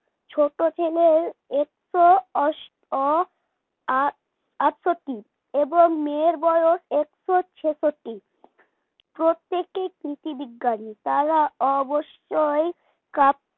ছোট ছেলের একশো আষট অ আ আটষট্টি এবং মেয়ের বয়স একশো ছেষট্টি প্রত্যেকে কৃষি বিজ্ঞানী তারা অবশ্যই কাপ